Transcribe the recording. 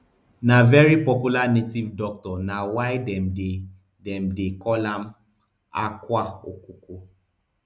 na very popular native doctor na why dem dey dem dey call am akwa okuko